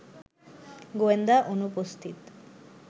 গোয়েন্দা অনুপস্থিত